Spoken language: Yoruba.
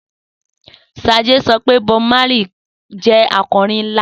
Sade sọ pé Bob Marley jẹ́ akọrin ńlá